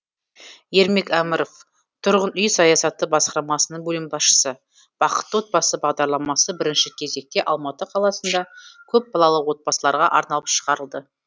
ермек әміров тұрғын үй саясаты басқармасының бөлім басшысы бақытты отбасы бағдарламасы бірінші кезекте алматы қаласында көпбалалы отбасыларға арналып шығарылды